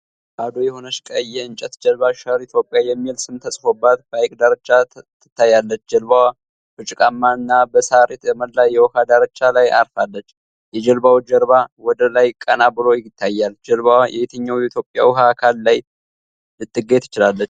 ባዶ የሆነች ቀይ የእንጨት ጀልባ "ሸር ኢትዮጵያ" የሚል ስም ተጽፎበት በሐይቅ ዳርቻ ትታያለች። ጀልባዋ በጭቃማና በሳር የተሞላ የውሃ ዳርቻ ላይ አርፋለች። የጀልባው ጀርባ ወደ ላይ ቀና ብሎ ይታያል። ጀልባዋ የትኛው የኢትዮጵያ የውሃ አካል ላይ ልትገኝ ትችላለች?